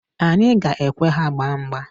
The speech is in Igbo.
Anyị ga-ekwe ha gbaa mgba.